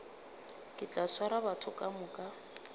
ke tla swara batho kamoka